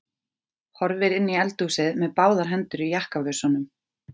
Horfir inn í eldhúsið með báðar hendur í jakkavösunum.